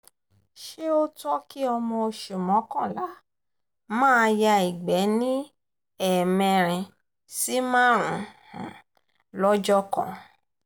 ṣe ó tọ́ kí ọmọ oṣù mọ́kànlá maa ya ìgbẹ́ ní ẹ̀mẹrin sí márùn-ún lọ́jọ́ kan